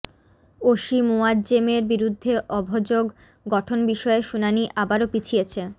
OC মোয়াজ্জেমের বিরুদ্ধে অভযোগ গঠন বিষয়ে শুনানি আবারো পিছিয়েছে